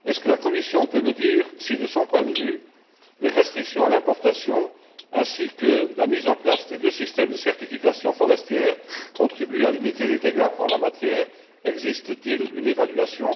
La Commission peut elle me dire si, de son point de vue, les restrictions à l'importation ainsi que la mise en place des deux systèmes de certification forestière contribuent à limiter les dégâts en la matière? Existe t il une évaluation?